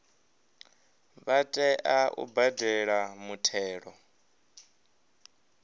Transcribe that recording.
vha tea u badela muthelo